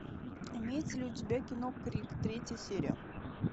имеется ли у тебя кино крик третья серия